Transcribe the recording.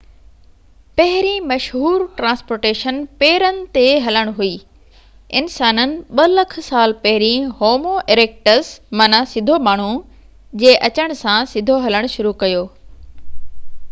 پهرين مشهور ٽرانسپورٽيشن پيرن تي هلڻ هئي، انسانن 2 لک سال پهرين هومو اريڪٽس معنيٰ سڌو ماڻهو جي اچڻ سان سڌو هلڻ شروع ڪيو